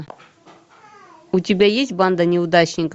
у тебя есть банда неудачников